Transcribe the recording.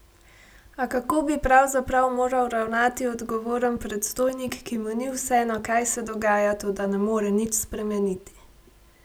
A kako bi pravzaprav moral ravnati odgovoren predstojnik, ki mu ni vseeno, kaj se dogaja, toda ne more nič spremeniti?